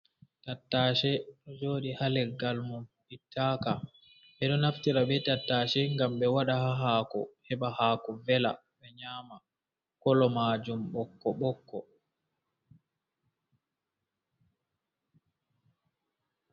Tattashe joɗi haleggal mum ɓittaka, ɓedo naftira be tattashe ngam ɓe waɗa hako heba hako vela ɓe nyama kolo majum ɓokko ɓokko.